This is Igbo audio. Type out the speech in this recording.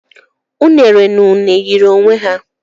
Unere na une yiri onwe ha